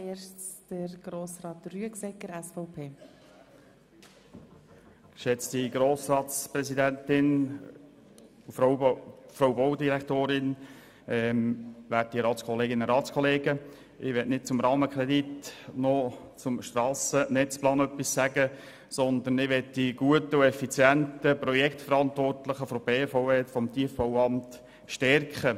Ich möchte weder zum Rahmenkredit noch zum Strassennetzplan etwas sagen, sondern möchte die guten und effizienten Projektverantwortlichen der BVE und des Tiefbauamts stärken.